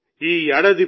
road సమీపంలో ఉంది